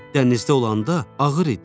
Dənizdə olanda ağır idim.